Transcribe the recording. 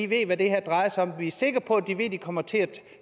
ved hvad det her drejer sig om vi er sikre på at de ved at de kommer til at